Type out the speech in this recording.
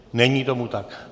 Není tomu tak.